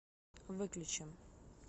выключи